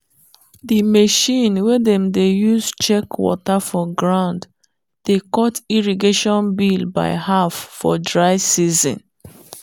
the machine wey dem dey use check water for ground dey cut irrigation bill by half for dry season.